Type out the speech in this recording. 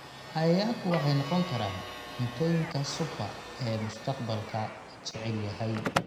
"Cayayaanku waxay noqon karaan "cuntooyinka super" ee mustaqbalka, la jecel yahay"